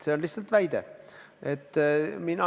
See on lihtsalt väide.